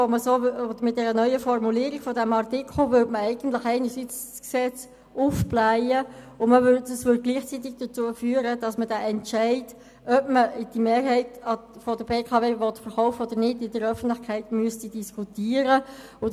Mit der neuen Formulierung des Artikels würde man das Gesetz aufblähen, was gleichzeitig dazu führen würde, dass der Entscheid, ob man die Mehrheit an der BKW verkaufen will oder nicht, in der Öffentlichkeit diskutiert werden müsste.